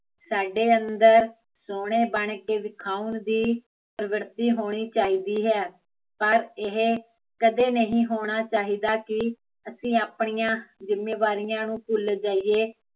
ਸਾਡੇ ਅੰਦਰ, ਸੋਹਣੇ ਬਣ ਕੇ ਵਿਖਾਉਣ ਦੀ, ਪਰਵਿਰਤੀ ਹੋਣੀ ਚਾਹੀਦੀ ਹੈ ਪਰ ਇਹ, ਕਦੇ ਨਹੀਂ ਹੋਣਾ ਚਾਹੀਦਾ ਕੀ ਅਸੀਂ ਆਪਣੀਆ ਜੁਮੇਵਾਰੀਆ ਨੂੰ ਭੁੱਲ ਜਾਈਏ